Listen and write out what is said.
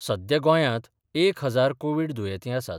सध्या गोंयांत एक हजार कोव्हीड दुयेंती आसात.